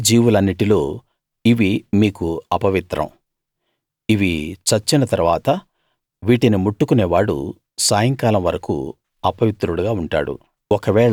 పాకే జీవులన్నిటిలో ఇవి మీకు అపవిత్రం ఇవి చచ్చిన తరువాత వీటిని ముట్టుకునేవాడు సాయంకాలం వరకూ అపవిత్రుడుగా ఉంటాడు